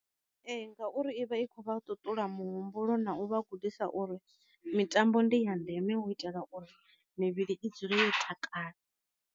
Ee ngauri i vha i kho vha ṱuṱula mu humbulo na u vha gudisa u ri mitambo ndi ya ndeme u itela uri mivhili i dzule yo takala.